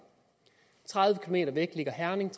tredive km væk ligger herning og